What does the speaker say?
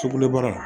Sukulu baara